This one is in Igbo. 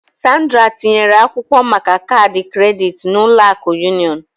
Sandra tinyere akwụkwọ maka kaadị kredit na Ụlọ akụ Union